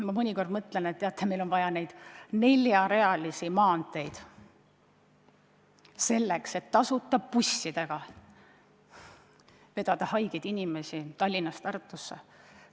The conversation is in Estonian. Ma mõnikord mõtlen, kas meil on vaja neid neljarealisi maanteid, selleks et tasuta bussidega vedada haigeid inimesi Tallinnast Tartusse.